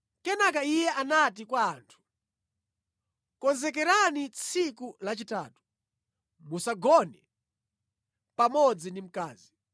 Kenaka iye anati kwa anthu, “Konzekerani tsiku lachitatu, musagone pamodzi ndi mkazi.”